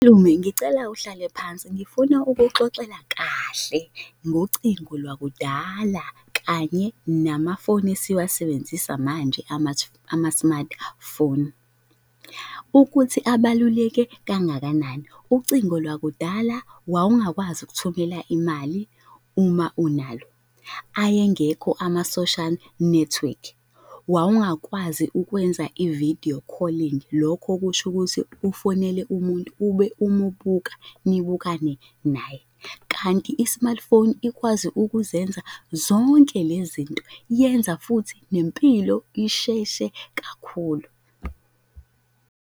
Malume, ngicela uhlale phansi, ngifuna ukuxoxela kahle ngocingo lwakudala kanye namafoni esiwasebenzisa manje ama-smartphone. Ukuthi abaluleke kangakanani, ucingo lwakudala wawungakwazi ukuthumela imali uma unalo, ayengekho ama-social network, wawungakwazi ukwenza i-video calling, lokho kusho ukuthi ufonele umuntu ube umubuka nibukane naye. Kanti i-smartphone ikwazi ukuzenza zonke le zinto, yenza futhi nempilo isheshe kakhulu.